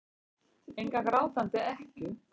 Enga grátandi ekkju.